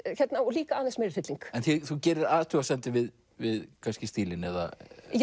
líka aðeins meiri hrylling en þú gerir athugasemdir við við kannski stílinn eða